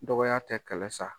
Dɔgɔya tɛ kɛlɛ sa.